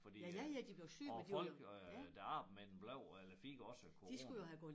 Fordi øh og folk øh der arbejdede med dem blev eller fik også corona